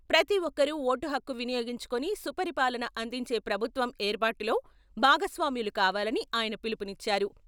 ప్రతి ఒక్కరూ ఓటుహక్కు వినియోగించుకొని సుపరిపాలన అందించే ప్రభుత్వం ఏర్పాటులో భాగస్వామ్యులు కావాలని ఆయన పిలుపునిచ్చారు.